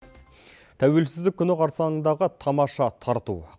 тәуелсіздік күні қарсаңындағы тамаша тарту